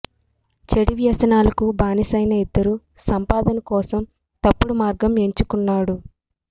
చెడు వ్యసనాలకు బానిసైన ఇద్దరూ సంపాదన కోసం తప్పుడు మార్గం ఎంచుకున్నారు